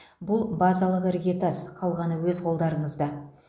бұл базалық іргетас қалғаны өз қолдарыңызда